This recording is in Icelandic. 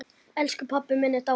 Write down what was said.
Elsku pabbi minn er dáinn.